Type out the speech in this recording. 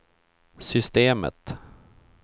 systemet